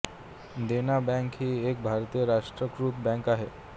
देना bank ही एक भारतीय राष्ट्रीयीकृत बँक आहे